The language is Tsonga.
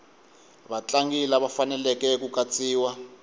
vatlangi lava faneleke ku katsiwa